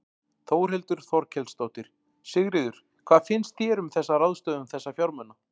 Þórhildur Þorkelsdóttir: Sigríður, hvað finnst þér um þessa ráðstöfun þessa fjármuna?